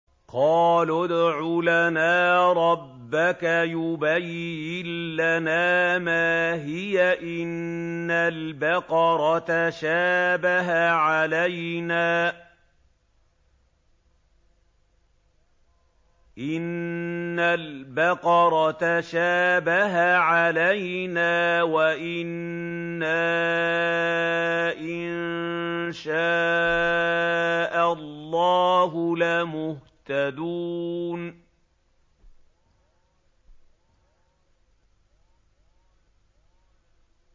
قَالُوا ادْعُ لَنَا رَبَّكَ يُبَيِّن لَّنَا مَا هِيَ إِنَّ الْبَقَرَ تَشَابَهَ عَلَيْنَا وَإِنَّا إِن شَاءَ اللَّهُ لَمُهْتَدُونَ